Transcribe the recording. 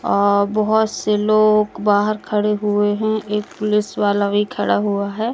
अह बहुत से लोग बाहर खड़े हुए हैं एक पुलिस वाला भी खड़ा हुआ है।